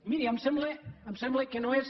miri em sembla em sembla que no és